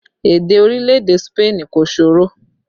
Èdè orílẹ̀ èdè Spain kò ṣòro